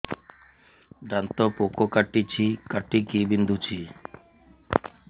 ଦାନ୍ତ ପୋକ କାଟିକି ବିନ୍ଧୁଛି